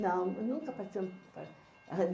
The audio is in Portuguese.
Não, nunca participei.